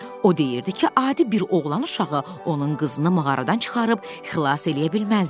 O deyirdi ki, adi bir oğlan uşağı onun qızını mağaradan çıxarıb xilas eləyə bilməzdi.